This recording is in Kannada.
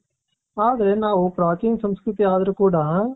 ಆದರೆ ನಾವು ಪ್ರಾಚೀನ ಸಂಸ್ಕೃತಿ ಆದರೂ ಕೂಡ.